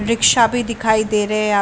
rickshaw भी दिखाई दे रहे है --